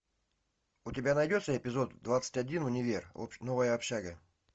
у тебя найдется эпизод двадцать один универ новая общага